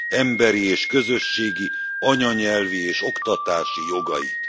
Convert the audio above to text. emberi és közösségi, anyanyelvi és oktatási jogait.